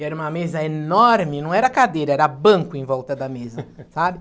E era uma mesa enorme, não era cadeira, era banco em volta da mesa, sabe?